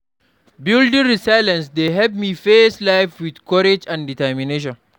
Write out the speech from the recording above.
Building resilience dey help me face life with courage and determination.